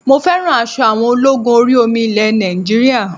Mo fẹ́ràn aṣọ àwọn ológun orí omi ilẹ̀ Nàìjíríà